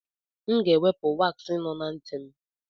M ga-ewepụ waaksị nọ na ntị m.